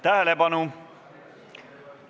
Tähelepanu!